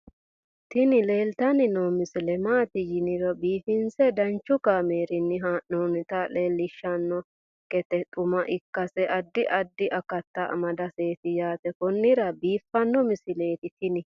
tini leeltanni noo misile maaati yiniro biifinse danchu kaamerinni haa'noonnita leellishshanni nonketi xuma ikkase addi addi akata amadaseeti yaate konnira biiffanno misileeti tini